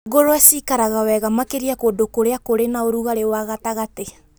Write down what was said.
Ngũrũwe ciĩkaga wega makĩria kũndũ kũrĩa kũrĩ na ũrugarĩ wa gatagatĩ,